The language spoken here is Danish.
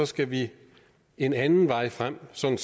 skal vi en anden vej frem sådan